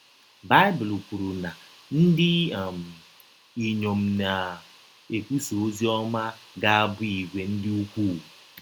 Baịbụl kwụrụ na ndị um inyọm na - um ekwụsa ọzi ọma ga - abụ ìgwè dị ụkwụụ.